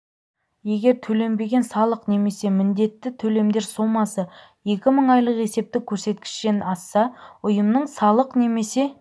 егер төленбеген салық немесе міндетті төлемдер сомасы екі мың айлық есептік көрсеткіштен асса ұйымның салық немесе